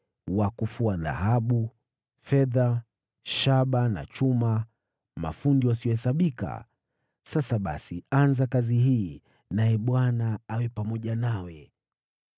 wa kufua dhahabu, fedha, shaba na chuma, mafundi wasiohesabika. Sasa basi anza kazi hii, naye Bwana awe pamoja nawe.”